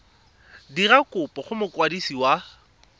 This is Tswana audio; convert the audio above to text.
dira kopo go mokwadisi wa